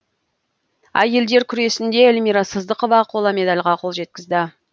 әйелдер күресінде эльмира сыздықова қола медальға қол жеткізді